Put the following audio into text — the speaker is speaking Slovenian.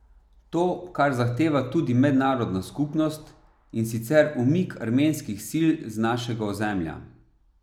To, kar zahteva tudi mednarodna skupnost, in sicer umik armenskih sil z našega ozemlja.